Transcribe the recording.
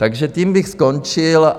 Takže tím bych skončil.